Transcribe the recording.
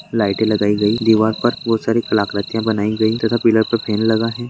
Light लगाई गई है दीवार पर बहुत सारे आकृतियां बनाई गई है पूरा फ्रेम लगा है।